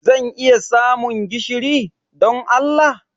Zan iya samun gishiri, don Allah?